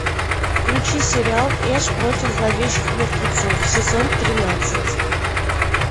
включи сериал эш против зловещих мертвецов сезон тринадцать